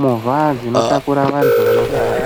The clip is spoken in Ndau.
movha dzinotakura vantu vanorwara.